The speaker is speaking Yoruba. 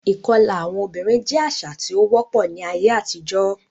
Ìkọlà àwọn obìnrin jẹ́ àṣà tí ó wọ́pọ̀ ní ayé àtijọ́.